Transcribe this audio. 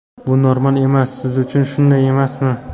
Bu normal emas siz uchun, shunday emasmi?